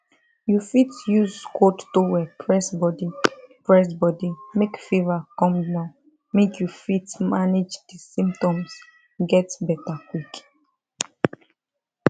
you fit use cold towel press body press body make fever come down make you fit manage di symptoms get beta quick